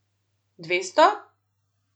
Dvesto?